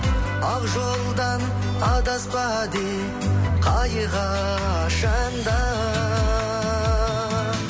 ақ жолдан адаспа деп қай қашан да